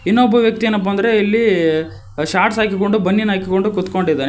ಇನ್ನೊಬ್ಬ ವ್ಯಕ್ತಿ ಏನಪ್ಪಾ ಅಂದ್ರೆ ಇಲ್ಲಿ ಶಾರ್ಟ್ಸ್ ಹಾಕಿಕೊಂಡು ಬನಿಯನ್ ಹಾಕಿಕೊಂಡು ಕುತ್ಕೊಂಡಿದ್ದಾನೆ.